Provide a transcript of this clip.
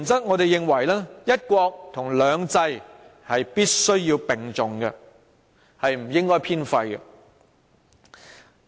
我們認為"一國"和"兩制"必須並重，不應偏廢。